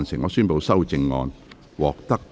我宣布修正案獲得通過。